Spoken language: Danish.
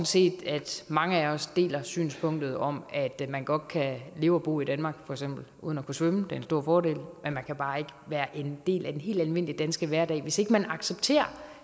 set at mange af os deler synspunktet om at man godt kan leve og bo i danmark uden at kunne svømme for en stor fordel men man kan bare ikke være en del af den helt almindelige danske hverdag hvis ikke man accepterer